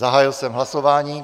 Zahájil jsem hlasování.